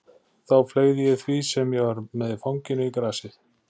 Þá fleygði ég því sem ég var með í fanginu í grasið.